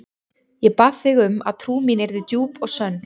Ég bað þig um að trú mín yrði djúp og sönn.